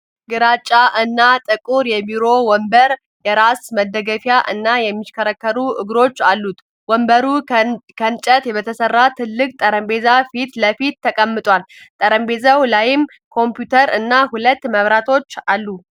ግራጫ እና ጥቁር የቢሮ ወንበር፣ የራስ መደገፊያ እና የሚሽከረከሩ እግሮች አሉት። ወንበሩ ከእንጨት በተሠራ ትልቅ ጠረጴዛ ፊት ለፊት ተቀምጧል፤ በጠረጴዛው ላይም ኮምፒውተር እና ሁለት መብራቶች አሉ።